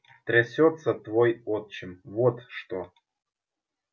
трясётся твой отчим вот что